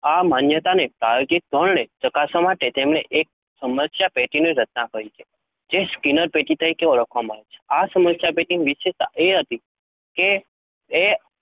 આ માન્યતાને પ્રાયોગિક ધોરણે ચકાસવા માટે તેમણે એક સમસ્યાપેટીની રચના કરી છે, જે સ્કિનર પેટી તરીકે ઓળખાય છે. આ સમસ્યાપેટીની વિશેષતા એ હતી કે એ